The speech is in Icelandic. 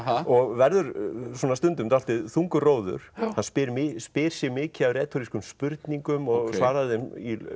og verður svona stundum dálítið þungur róður hann spyr spyr sig mikið af spurningum og svarar þeim